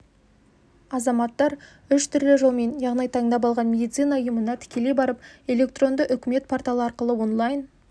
азаматтар үш түрлі жолмен яғни таңдап алған медицина ұйымына тікелей барып электронды үкімет порталы арқылы онлайн